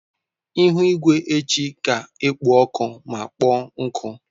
Ihu igwe echi ga-ekpo ọkụ ma kpọọ nkụ.